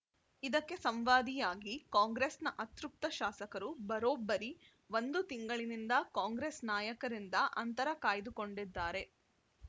ಇದಕ್ಕೆ ಸಂವಾದಿಯಾಗಿ ಕಾಂಗ್ರೆಸ್‌ನ ಅತೃಪ್ತ ಶಾಸಕರು ಬರೋಬ್ಬರಿ ಒಂದು ತಿಂಗಳಿನಿಂದ ಕಾಂಗ್ರೆಸ್‌ ನಾಯಕರಿಂದ ಅಂತರ ಕಾಯ್ದುಕೊಂಡಿದ್ದಾರೆ